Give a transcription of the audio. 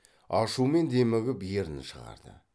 ашумен демігіп ернін шығарды